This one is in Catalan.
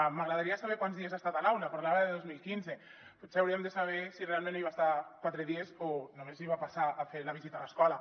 m’agradaria saber quants dies ha estat a l’aula parlava de dos mil quinze potser hauríem de saber si realment hi va estar quatre dies o només va passar a fer la visita a l’escola